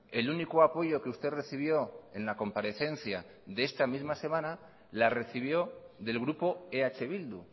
el único apoyo que usted recibió en la comparecencia de esta misma semana la recibió del grupo eh bildu